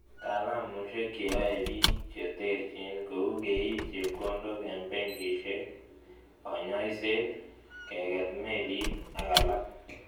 Taalumaisiek che yoei bik che terchin kou keit chepkondok eng benkisiek, konyoiset, keket melit ak alak